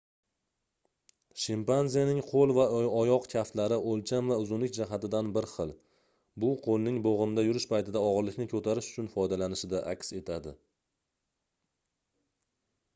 shimpanzening qoʻl va oyoq kaftlari oʻlcham va uzunlik jihatidan bir xil bu qoʻlning boʻgʻimda yurish paytida ogʻirlikni koʻtarish uchun foydalanilishida aks etadi